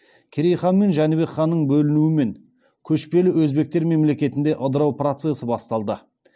керей хан мен жәнібек ханның бөлінуімен көшпелі өзбектер мемлекетінде ыдырау процесі басталды